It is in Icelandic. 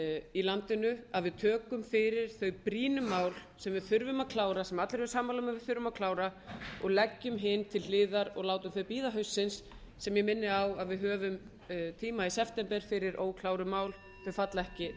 í landinu að við tökum fyrir þau brýnu mál sem við þurfum að klára sem allir eru sammála um að við þurfum að klára og leggjum hin til hliðar og látum þau bíða haustsins sem ég minni á að við höfum tíma í september fyrir ókláruð mál sem falla ekki